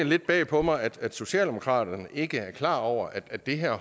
lidt bag på mig at socialdemokratiet ikke er klar over at det her